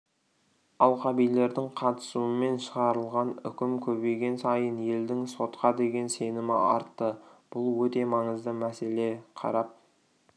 алқабилердің қатысуымен шығарылған үкім көбейген сайын елдің сотқа деген сенімі артты бұл өте маңызды мәселе қарап